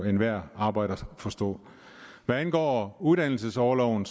enhver arbejder jo forstå hvad angår uddannelsesorloven